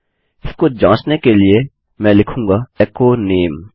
इसको जाँचने के लिए मैं लिखूँगा एचो नामे